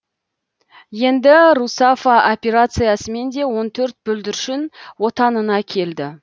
енді русафа операциясымен де он төрт бүлдіршін отанына келді